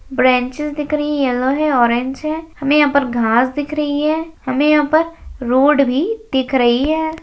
Branches दिख रही है येलो है ऑरेंज है हमें यहां पर घास दिख रही है हमें यहां पर रोड भी दिख रही है।